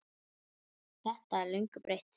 Þetta er löngu breytt?